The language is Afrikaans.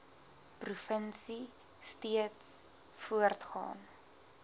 provinsie steeds voortgaan